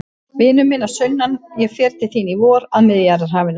Vinur minn að sunnan, ég fer til þín í vor, að Miðjarðarhafinu.